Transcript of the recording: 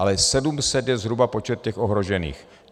Ale 700 je zhruba počet těch ohrožených.